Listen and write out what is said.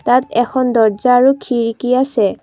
ইয়াত এখন দৰ্জা আৰু খিৰিকী আছে।